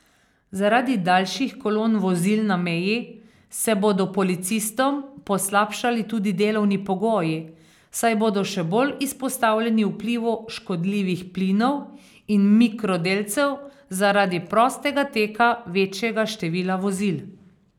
Zaradi daljših kolon vozil na meji se bodo policistom poslabšali tudi delovni pogoji, saj bodo še bolj izpostavljeni vplivu škodljivih plinov in mikrodelcev zaradi prostega teka večjega števila vozil.